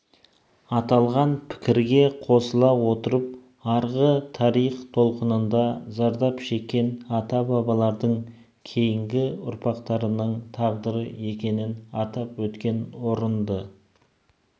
аталған пікірге қосыла отырып арғы тарих толқынында зардап шеккен ата-бабалардың кейінгі ұрпақтарының тағдыры екенін атап өткен орынды